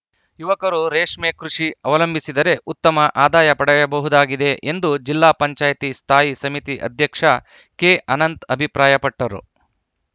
ಯುವಕರು ರೇಷ್ಮೆ ಕೃಷಿ ಅವಲಂಭಿಸಿದರೆ ಉತ್ತಮ ಆದಾಯ ಪಡೆಯಬಹುದಾಗಿದೆ ಎಂದು ಜಿಲ್ಲಾಪಂಚಾಯ್ತಿ ಸ್ಥಾಯಿ ಸಮಿತಿ ಅಧ್ಯಕ್ಷ ಕೆಅನಂತ್‌ ಅಭಿಪ್ರಾಯಪಟ್ಟರು